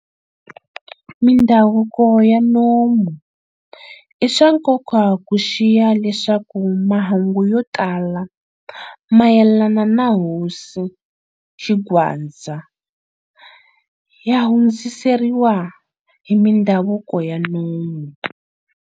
Mindhavuko ya nomu-I swa nkoka ku xiya leswaku mahungu yo tala mayelana na hosi Xingwadza ya hundziseriwa hi mindhavuko ya nomu.